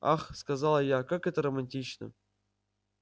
ах сказала я как это романтично